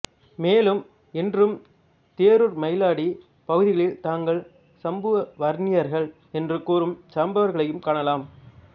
மேலும் இன்றும் தேரூர்மயிலாடி பகுதிகளில் தாங்கள் சம்புவன்னியர்கள் என்று கூறும் சாம்பவர் களையும் காணலாம்